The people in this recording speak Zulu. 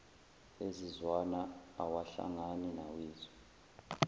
ezizwana awahlangani nawethu